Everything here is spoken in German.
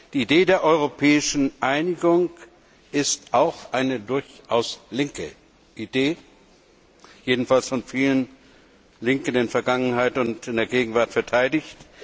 Die Idee der europäischen Einigung ist auch eine durchaus linke Idee, jedenfalls von vielen Linken in der Vergangenheit und in der Gegenwart verteidigt.